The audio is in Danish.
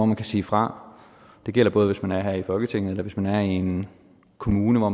man kan sige fra det gælder hvis man er her i folketinget eller hvis man er i en kommune og